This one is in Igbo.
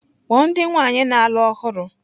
Kpọọ ndị nwaanyị na-alụ ọhụrụ!